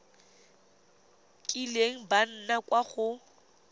kileng ba nna kwa go